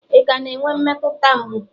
ị ka na-enwe mmetụta mgbu